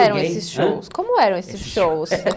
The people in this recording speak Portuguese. ãh? ...eram esses shows? Como eram esses shows?